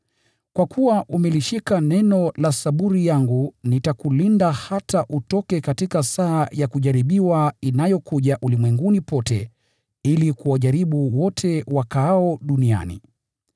Kwa kuwa umeshika amri yangu ya kuvumilia katika saburi, nitakulinda katika saa ya kujaribiwa inayokuja ulimwenguni pote, ili kuwajaribu wote wakaao duniani.